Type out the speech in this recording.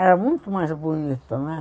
Era muito mais bonito, né?